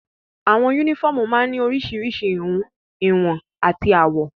Àwọn únífọ́ọ́mù máa ń ní oríṣiríṣi ìhun, ìwọ̀n àti àwọ̀.